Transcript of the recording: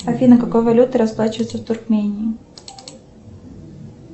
афина какой валютой расплачиваются в туркмении